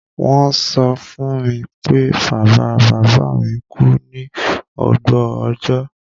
Won so fún mi pé bàbá-bàbámi ku ni ògbó ọjọ́